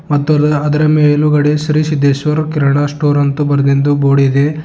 ಮತ್ತು ಅದುರ ಮೇಲುಗಡೆ ಶ್ರೀ ಸಿದ್ದೇಶ್ವರ್ ಕಿರಣಾ ಸ್ಟೋರ್ ಅಂತೂ ಬರೆದಿದ್ದು ಬೋರ್ಡ್ ಇದೆ.